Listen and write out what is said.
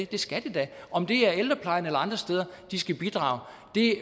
det skal de da om det er i ældreplejen eller andre steder de skal bidrage